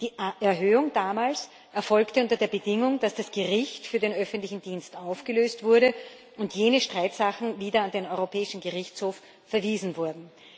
Die Erhöhung damals erfolgte unter der Bedingung, dass das Gericht für den öffentlichen Dienst aufgelöst wurde und jene Streitsachen wieder an den Europäischen Gerichtshof verwiesen wurden.